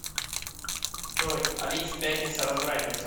джой алив пятница развратница